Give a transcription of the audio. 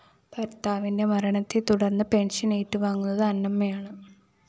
ഭര്‍ത്താവിന്റെ മരണത്തേ തുടര്‍ന്ന് പെൻഷൻ ഏറ്റുവാങ്ങുന്നത് അന്നമ്മയാണ്